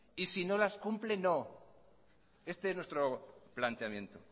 y si no las cumple no este es nuestro planteamiento